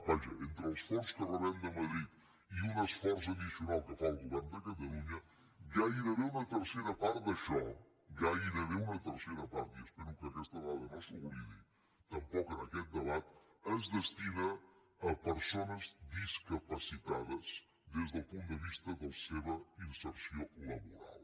vaja entre els fons que rebem de madrid i un esforç addicional que fa el govern de catalunya gairebé una tercera part d’això gairebé una tercera part i espero que aquesta dada no s’oblidi tampoc en aquest debat es destina a persones discapacitades des del punt de vista de la seva inserció laboral